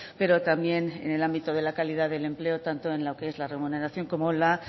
pero también en el ámbito de la calidad del empleo tanto en lo que es la remuneración como la